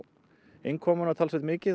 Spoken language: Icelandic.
innkomuna talsvert mikið